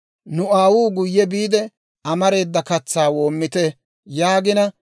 «Nu aawuu, ‹Guye biide amareeda katsaa woomite› yaagina,